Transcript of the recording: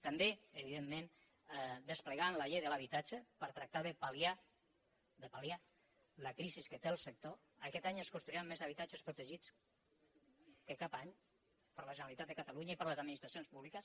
també evidentment desplegant la llei de l’habitatge per tractar de pal·liar la crisi que té el sector aquest any es construiran més habitatges protegits que cap any per la generalitat i per les administracions públiques